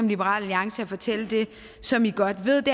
liberal alliance og fortælle det som vi godt ved